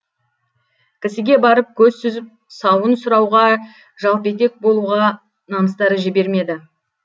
кісіге барып көз сүзіп сауын сұрауға жалпетек болуға намыстары жібермеді